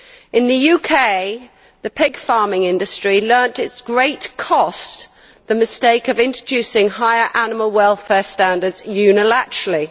In the UK, the pig farming industry learnt to its great cost the mistake of introducing higher animal welfare standards unilaterally.